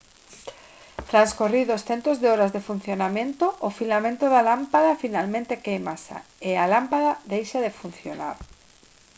transcorridos centos de horas de funcionamento o filamento da lámpada finalmente quéimase e a lámpada deixa de funcionar